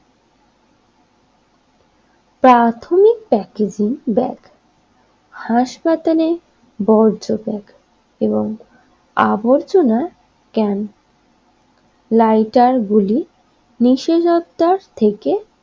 প্রাথমিক packaging bag হাসপাতালের বর্জ্য ব্যাগ এবং আবর্জনার ক্যাম্প লাইটারগুলি নিষেধাজ্ঞা থেকে